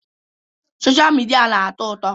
Sọsha mịdia na-atọ ụtọ.